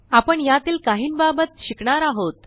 आपण यातील काहिंबाबत शिकणार आहोत